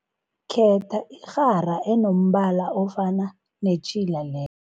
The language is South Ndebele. Khetha irhara enombala ofana netjhila le